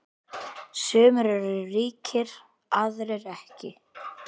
Sumir eru ríkir, aðrir ekki.